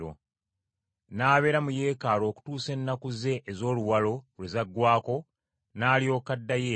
N’abeera mu Yeekaalu okutuusa ennaku ze ez’oluwalo lwe zaggwaako n’alyoka addayo eka.